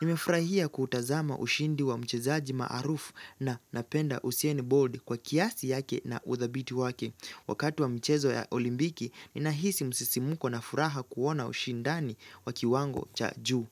Nimefurahia kutazama ushindi wa mchezaji maarufu na napenda usain bolt kwa kiasi yake na uthabiti wake. Wakati wa mchezo ya olimpiki, ninahisi msisimko na furaha kuona ushindani wa kiwango cha juu.